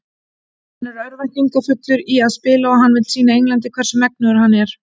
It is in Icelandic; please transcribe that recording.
Hann er örvæntingarfullur í að spila og hann vill sýna Englandi hvers megnugur hann er.